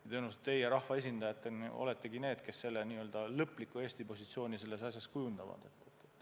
Aga tõenäoliselt teie rahvaesindajatena oletegi need, kes selle lõpliku Eesti positsiooni selles asjas kujundavad.